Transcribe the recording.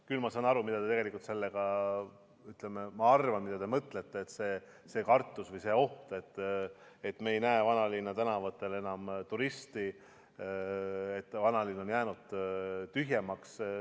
Küll saan ma aru, mida te sellega mõtlete, et on kartus või oht, et me ei näe vanalinna tänavatel enam turiste, et vanalinn on jäänud tühjemaks.